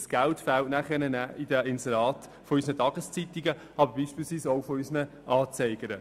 Dieses Geld fehlt dann bei den Inseraten unserer Tageszeitungen, aber beispielsweise auch unserer Anzeiger.